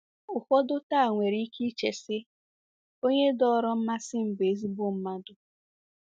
Ụfọdụ taa nwere ike iche si, Onye dọọrọ mmasị m bụ ezIgbo mmadụ.